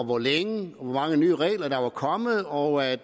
hvor længe og hvor mange nye regler der var kommet og at